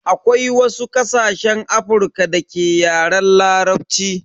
Akwai wasu ƙasashen Afrika da ke Yaren Larabci.